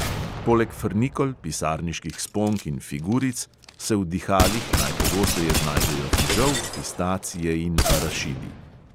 Poleg frnikol, pisarniških sponk in figuric se v dihalih najpogosteje znajdejo fižol, pistacije in arašidi.